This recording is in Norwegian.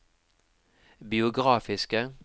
biografiske